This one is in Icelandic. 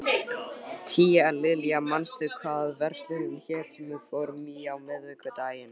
Tíalilja, manstu hvað verslunin hét sem við fórum í á miðvikudaginn?